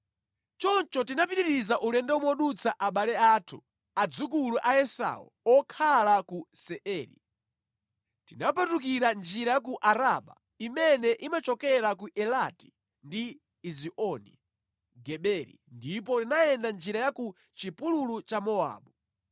Choncho tinapitiriza ulendo modutsa abale athu, adzukulu a Esau okhala ku Seiri. Tinapatukira njira ya ku Araba imene imachokera ku Elati ndi Ezioni Geberi ndipo tinayenda njira ya ku chipululu cha Mowabu.